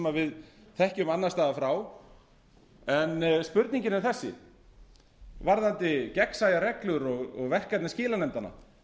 við þekkjum annars staðar frá en spurningin er þessi varðandi gegnsæjar reglur og verkefni skilanefndanna